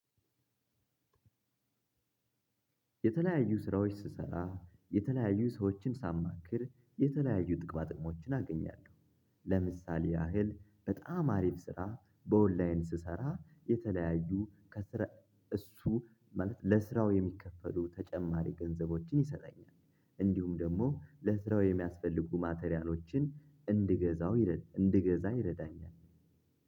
የተለያዩ ስራዎች ስሰራ የተለያዩ ሰዎችን ሳማክር የተለያዩ ጥቅማጥቅሞችን አገኛለሁ። ለምሳሌ ያህል በጣም አሪፍ ስራ በኦንላይን ስሰራ የተለያዩ ከስራ እሱ ማለት ለስራው የሚከፈሉ ተጨማሪ ገንዘቦችን ይሰጣኛል። እንዲሁም ደግሞ ለስራው የሚያስፈልጉ ማቴሪያሎችን እንድገዛው ይረዳኛል።